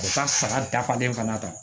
U bɛ taa saga dafalen fana ta